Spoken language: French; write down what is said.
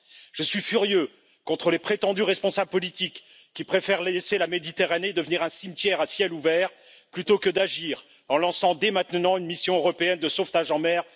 Je suis furieux contre les prétendus responsables politiques qui préfèrent laisser la Méditerranée devenir un cimetière à ciel ouvert plutôt que d'agir en lançant dès maintenant une mission européenne de sauvetage en mer!